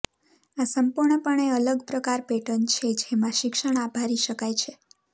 આ સંપૂર્ણપણે અલગ પ્રકાર પેટર્ન છે જેમાં શિક્ષણ આભારી શકાય છે